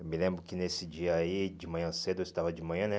Eu me lembro que nesse dia aí, de manhã cedo, eu estudava de manhã, né?